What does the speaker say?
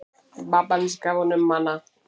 Pabbi hans gaf honum hana.